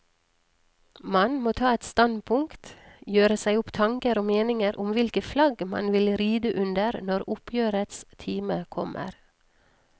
Man må ta et standpunkt, gjøre seg opp tanker og meninger om hvilket flagg man vil ride under når oppgjørets time kommer.